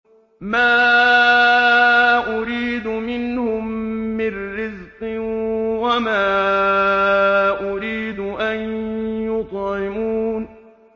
مَا أُرِيدُ مِنْهُم مِّن رِّزْقٍ وَمَا أُرِيدُ أَن يُطْعِمُونِ